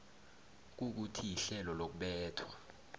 kukuthi ihlelo lokubethwa